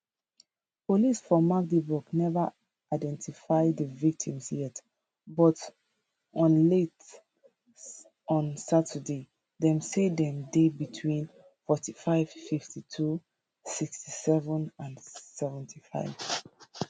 police for magdeburg neva identify di victims yet but on late on saturday dem say dem dey between 45 52 67 and 75